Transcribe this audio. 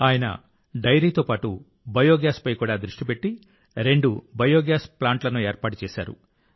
ఆయన డెయిరీతో పాటు బయోగ్యాస్ పై కూడా దృష్టి పెట్టి రెండు బయోగ్యాస్ ప్లాంట్లను ఏర్పాటు చేశారు